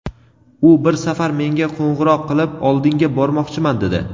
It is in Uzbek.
u bir safar menga qo‘ng‘iroq qilib, "Oldingga bormoqchiman", dedi.